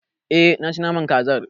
E, naci naman kazar.